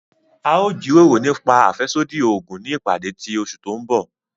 A o jiroro nipa afẹsodi oogun ni ipade ti oṣu ti n bọ.